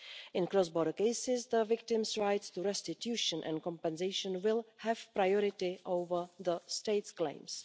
In cross-border cases, the victims' rights to restitution and compensation will have priority over the state's claims.